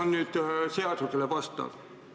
Kas see on seadusele vastav?